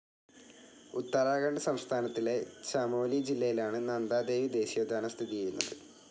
ഉത്തരാഖണ്ഡ് സംസ്ഥാനത്തിലെ ചമോലി ജില്ലയിലാണ് നന്ദാദേവീ ദേശീയോദ്യാനം സ്ഥിതി ചെയ്യുന്നത്.